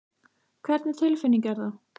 Hvernig tilfinning er það?